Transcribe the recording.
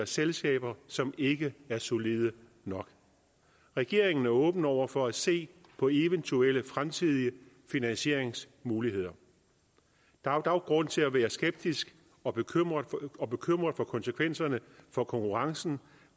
selskaber som ikke er solide nok regeringen er åben over for at se på eventuelle fremtidige finansieringsmuligheder der er dog grund til at være skeptisk og bekymret og bekymret for konsekvenserne for konkurrencen